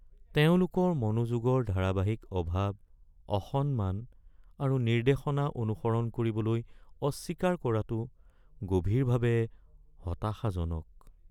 তেওঁলোকৰ মনোযোগৰ ধাৰাবাহিক অভাৱ, অসন্মান আৰু নিৰ্দেশনা অনুসৰণ কৰিবলৈ অস্বীকাৰ কৰাটো গভীৰভাৱে হতাশাজনক।